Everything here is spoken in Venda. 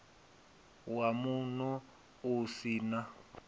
wa muno u si na